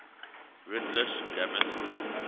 rutlish grammar school